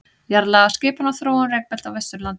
Jarðlagaskipan og þróun rekbelta á Vesturlandi.